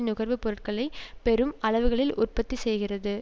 நுகர்வு பொருட்களை பெரும் அளவுகளில் உற்பத்தி செய்கிறது